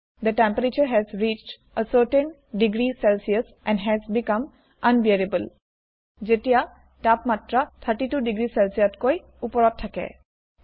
output দেখুৱাওক the temperature has reached a certain degree Celsius and has become unbearable যেতিয়া তাপমাত্ৰা ৩২ degree Celsius তকৈ ওপৰত থাকে